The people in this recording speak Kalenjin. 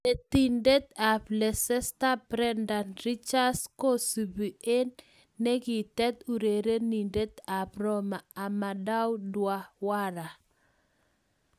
Netindet ab Leicester Brendan Ridgers kosubi eng negitet urerenindet ab Roma Amadou Diawara.